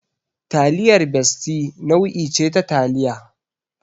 Taliyar Bestie nau'i ce ta taliya.